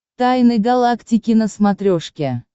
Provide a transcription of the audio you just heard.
тайны галактики на смотрешке